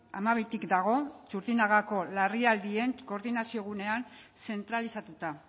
hamabitik dago txurdinagako larrialdien koordinazio gunean zentralizatuta